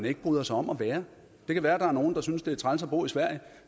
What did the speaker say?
ikke bryder sig om at være det kan være at der er nogle der synes at det er træls at bo i sverige